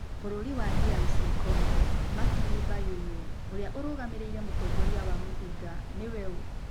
Bũrũri wa DR Congo, Martini bayũlrũ, ũrĩa ũrũgamĩrĩire mũtongoria wa mũhĩnga, nĩ we ũ ?